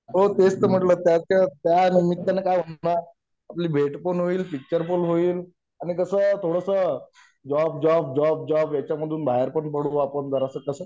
हो तेच तर म्हंटला त्याच्या त्या निमित्ताने का होईना आपली भेट पण होईल पिक्चर पण होईल आणि कसाय थोडसं जॉब जॉब जॉब जॉब ह्याच्यामधून बाहेर पण पडू बा आपण जरासं कसं